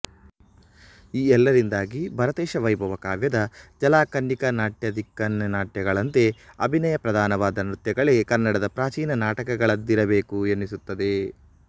ಈ ಎಲ್ಲದರಿಂದಾಗಿ ಭರತೇಶವೈಭವ ಕಾವ್ಯದ ಜಲಕನ್ನಿಕಾನಾಟ್ಯ ದಿಕ್ಕನ್ನಿಕಾನಾಟ್ಯಗಳಂತೆ ಅಭಿನಯ ಪ್ರಧಾನವಾದ ನೃತ್ಯಗಳೇ ಕನ್ನಡದ ಪ್ರಾಚೀನ ನಾಟಕಗಳಾಗಿದ್ದಿರಬೇಕು ಎನಿಸುತ್ತದೆ